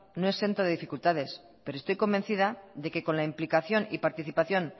no exento de dificultades pero estoy convencida de que con la implicación y participación